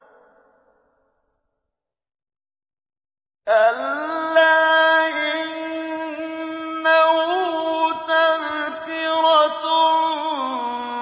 كَلَّا إِنَّهُ تَذْكِرَةٌ